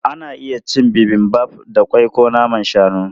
Ana iya cin Bibimbap da ƙwai ko naman shanu.